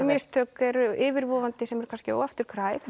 mistök eru yfirvofandi sem eru kannski óafturkræf